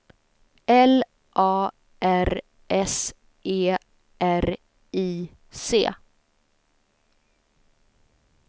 L A R S E R I C